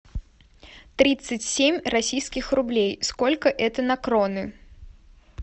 тридцать семь российских рублей сколько это на кроны